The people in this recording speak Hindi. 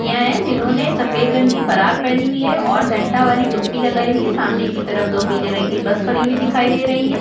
क्या है? जिन्होंने सफेद रंग की फराक पहनी हुई है और सेंटा वाली टोपी लगाई हुई है सामने की तरफ दो पीले रंग की बस खड़ी हुई दिखाई दे रही हैं।